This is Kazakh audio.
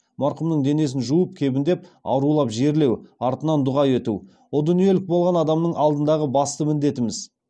марқұмның денесін жуып кебіндеп арулап жерлеу артынан дұға ету о дүниелік болған адамның алдындағы басты міндетіміз